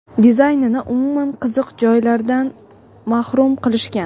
dizaynini umuman qiziq joylaridan mahrum qilishgan.